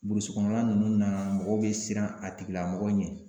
kɔnɔna ninnu na mɔgɔw be siran a tigilamɔgɔ ɲɛ.